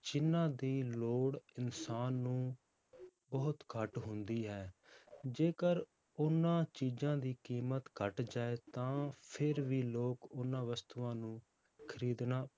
ਜਿੰਨਾਂ ਦੀ ਲੋੜ ਇਨਸਾਨ ਨੂੰ ਬਹੁਤ ਘੱਟ ਹੁੰਦੀ ਹੈ, ਜੇਕਰ ਉਹਨਾਂ ਚੀਜ਼ਾਂ ਦੀ ਕੀਮਤ ਘੱਟ ਜਾਏ ਤਾਂ ਫਿਰ ਵੀ ਲੋਕ ਉਹਨਾਂ ਵਸਤੂਆਂ ਨੂੰ ਖ਼ਰੀਦਣਾ